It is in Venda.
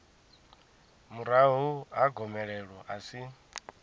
murahu ha gomelelo a si